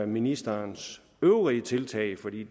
ministerens øvrige tiltag for det